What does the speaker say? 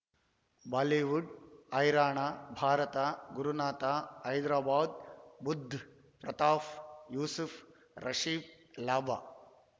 Bollywood ಹೈರಾಣ ಭಾರತ ಗುರುನಾಥ ಹೈದರಾಬಾದ್ ಬುಧ್ ಪ್ರತಾಫ್ ಯೂಸುಫ್ ರಾಶಿಫ್ ಲಾಭ